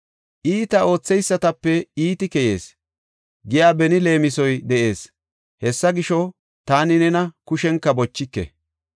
“Iita ootheysatape iiti keyees” giya beni leemisoy de7ees. Hessa gisho, taani nena kushenka bochike.